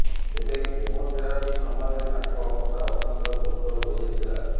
ତେବେ କେମୋଥେରାପି ସମୟରେ ତାଙ୍କ ଅବସ୍ଥା ଅତ୍ୟନ୍ତ ଗୁରୁତର ହୋଇଯାଇଥିଲା